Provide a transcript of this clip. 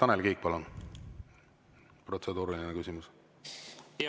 Tanel Kiik, palun, protseduuriline küsimus!